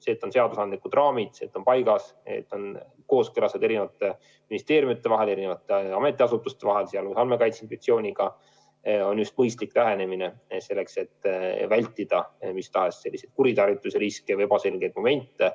See, et on seadusandlikud raamid, et kõik on paigas, kooskõlastatud eri ministeeriumide vahel ja muude ametiasutuste vahel, sh Andmekaitse Inspektsiooniga, on just mõistlik lähenemine, selleks et vältida mis tahes kuritarvituse riske ja ebaselgeid momente.